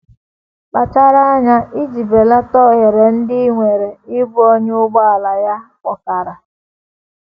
Kpachara anya iji belata ohere ndị i nwere ịbụ onye ụgbọala ya kpọkara.